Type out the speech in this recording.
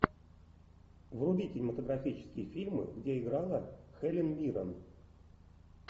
вруби кинематографические фильмы где играла хелен миррен